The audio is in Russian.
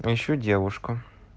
ищу девушку